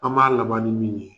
An b'a laban ni min ye.